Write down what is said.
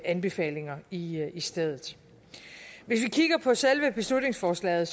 anbefalinger i i stedet hvis vi kigger på selve beslutningsforslaget